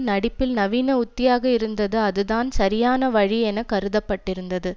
நடிப்பில் நவீன உத்தியாக இருந்தது அதுதான் சரியான வழி என கருதப்பட்டிருந்தது